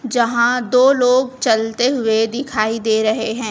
जहां दो लोग चलते हुए दिखाई दे रहे हैं।